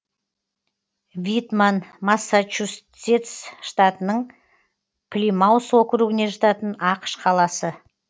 витман массачусетс штатының плимаус округіне жататын ақш қаласы